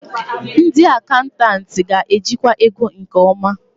Ndị akantantịị ga-ejikwa ego nke ọma.